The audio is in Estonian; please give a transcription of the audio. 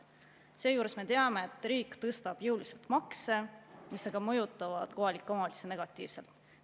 Seejuures me teame, et riik tõstab jõuliselt makse, mis aga mõjutavad kohalikke omavalitsusi negatiivselt.